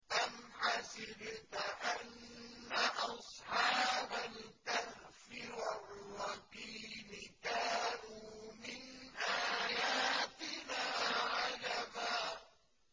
أَمْ حَسِبْتَ أَنَّ أَصْحَابَ الْكَهْفِ وَالرَّقِيمِ كَانُوا مِنْ آيَاتِنَا عَجَبًا